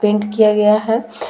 Paint किया गया है ।